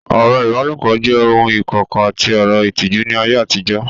Ọ̀rọ̀ ìbálòpọ̀ jẹ́ ohun ìkọ̀kọ̀ àti ọ̀rọ̀ ìtìjú ní ayé àtijọ́